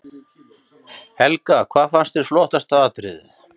Helga: Hvað fannst þér flottasta atriðið?